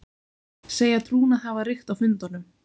Segja trúnað hafa ríkt á fundunum